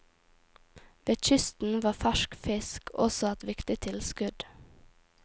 Ved kysten var fersk fisk også et viktig tilskudd.